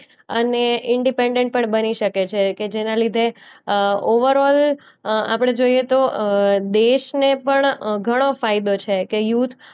અને ઇન્ડિપેન્ડન્ટ પણ બની શકે છે કે જેના લીધે અ ઓવરઆલ અ આપણે જોઈએ તો અ દેશને પણ અ ઘણોં ફાયદો છે કે યુથ